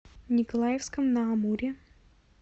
николаевском на амуре